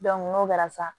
n'o kɛra sa